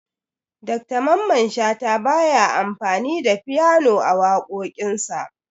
Dr mamman shata baya amfani da fyano a waƙoƙin sa